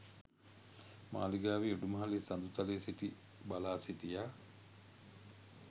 මාළිගාවේ උඩුමහලේ සඳළුතලයේ සිටි බලා සිටියා.